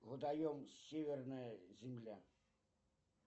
водоем северная земля